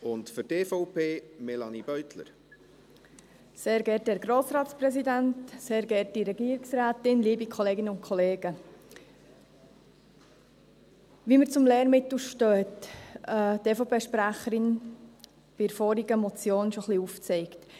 Wie wir zum Lehrmittel stehen, hat die EVP-Sprecherin bei der vorhergehenden Motion bereits ein wenig aufgezeigt.